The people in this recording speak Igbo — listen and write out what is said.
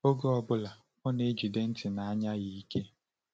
Oge ọ bụla, ọ na-ejide ntị na anya ya ike.